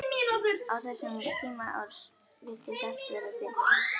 Á þessum tíma árs virtist alltaf vera dimmt.